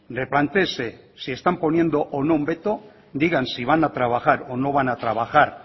replantéese si están poniendo o no un veto digan si van a trabajar o no van a trabajar